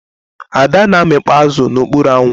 Ada na amịkpọ azụ na ọkpụrụ anwụ.